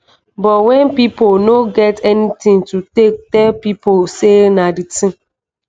but wen pipo no get anytin to take tell pipo say na di tin